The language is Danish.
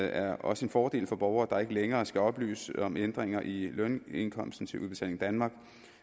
er også en fordel for borgere der ikke længere skal oplyse om ændringer i lønindkomsten til udbetaling danmark